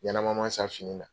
ɲanama man san finiw na.